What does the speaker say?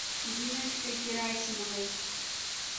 диночкой герасимовой